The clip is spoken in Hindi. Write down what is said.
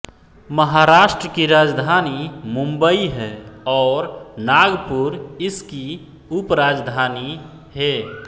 महाराष्ट्र की राजधानी मुंबई है और नागपूर इसकी उपराजधानी हे